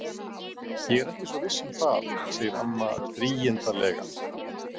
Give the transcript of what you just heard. Ég er ekki svo viss um það, segir amma drýgindalega.